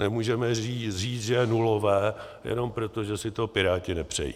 Nemůžeme říct, že je nulové, jenom proto, že si to Piráti nepřejí.